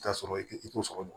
I bɛ t'a sɔrɔ i t'o sɔrɔ